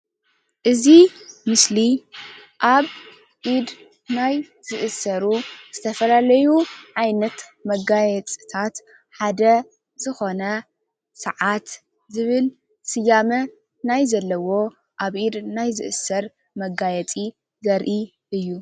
እዚ ምስሊ አብ ኢድ ናይ ዝእሰሩ ዝተፈላለዩ ዓይነት መጋየፂታት ሓደ ዝኮነ ስዓት ዝብል ስያመ ናይ ዘለዎ አብ ኢድ ናይ ዝእሰር መጋየፂ ዘርኢ እዩ፡፡